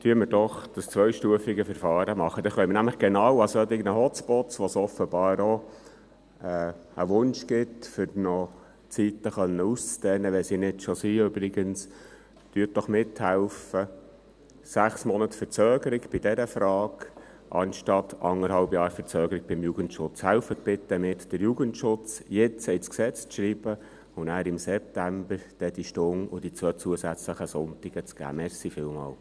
Machen wir doch dieses zweistufige Verfahren, dann können wir genau für solche Hotspots, bei denen offenbar der Wunsch besteht, die Zeiten noch auszudehnen, wenn sie es übrigens nicht schon sind … Helfen Sie doch mit, sechs Monate Verzögerung bei dieser Frage anstatt eineinhalb Jahre Verzögerung beim Jugendschutz … Helfen Sie bitte mit, den Jugendschutz jetzt ins Gesetz zu schreiben und danach, im September, diese Stunde sowie die zwei zusätzlichen Sonntage zu geben.